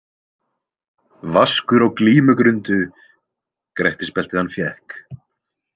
Vaskur á glímugrundu Grettisbeltið hann fékk.